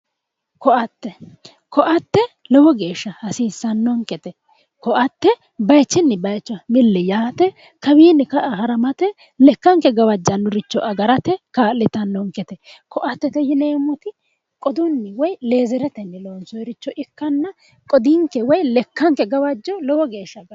Koatte, koatte lowo geeshsha hasiisanonkete ,koatte bayichuni bayicho milli yaate kawinni ka"a haramate ,lekkanke gawajanoricho agarate kaa'littanonkete, koattete yineemmoti qoduni woyi lezereteni loonsonite ikkanna qoduninke woyi lekkake gawajo lowo geeshsha agartano